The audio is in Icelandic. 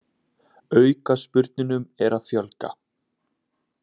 Aukaspyrnunum er að fjölga